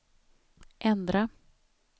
ändra